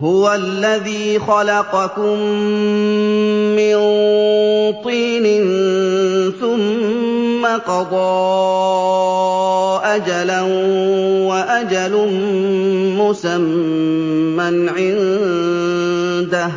هُوَ الَّذِي خَلَقَكُم مِّن طِينٍ ثُمَّ قَضَىٰ أَجَلًا ۖ وَأَجَلٌ مُّسَمًّى عِندَهُ